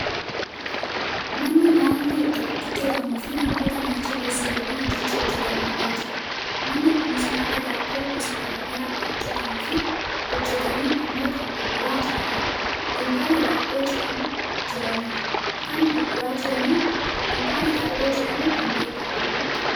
mana nyaanni itti hojjatamuufi namoota manicha keessa yookaan hojicha hojjatan argaa jirra. manni kunis nyaata daabboo gosa gara garaa kan hojjataniifi hojjatanii ammoo kan gurguraa jiranidha. dunkaana daabboo jedhamuun kan beeekkamudha.